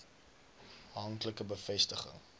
hank like bevestiging